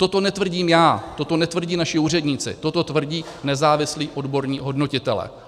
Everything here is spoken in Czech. Toto netvrdím já, toto netvrdí naši úředníci, toto tvrdí nezávislí odborní hodnotitelé.